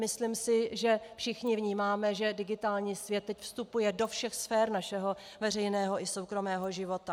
Myslím si, že všichni vnímáme, že digitální svět teď vstupuje do všech sfér našeho veřejného i soukromého života.